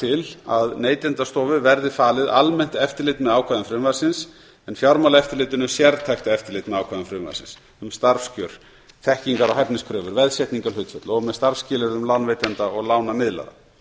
til að neytendastofu verði falið almennt eftirlit með ákvæðum frumvarpsins en fjármálaeftirlitinu sértækt eftirlit með ákvæðum frumvarpsins um starfskjör þekkingar og hæfniskröfur veðsetningarhlutföll og með starfsskilyrðum lánveitenda og lánamiðlara